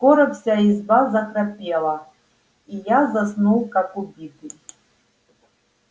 скоро вся изба захрапела и я заснул как убитый